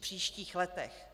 příštích letech.